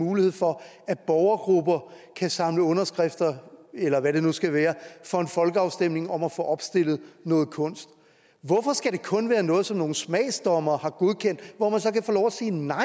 mulighed for at borgergrupper kan samle underskrifter eller hvad det nu skal være for en folkeafstemning om at få opstillet noget kunst hvorfor skal det kun være noget som nogle smagsdommere har godkendt hvor man så kan få lov at sige nej